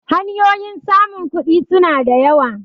hanyoyin samun kudi suna da yawa